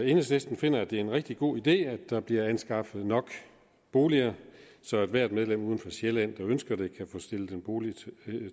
enhedslisten finder at det er en rigtig god idé at der bliver anskaffet nok boliger så ethvert medlem uden for sjælland der ønsker det kan få stillet en bolig